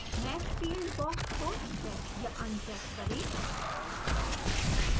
mesh field box को check या uncheck करें